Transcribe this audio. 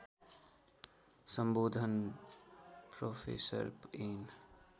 सम्बोधन professor an